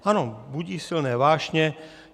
Ano, budí silné vášně.